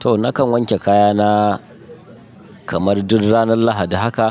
Toh nakan wanke kayana kamar duk ranar lahadi haka,